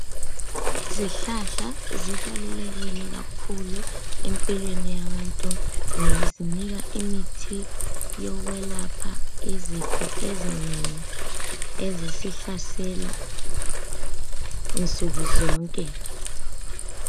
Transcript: Izihlahla zibalulekile kakhulu empilweni yabantu ngoba zinika imithi yokwelapha izifo ezinengi ezisihlasela nsukuzonke.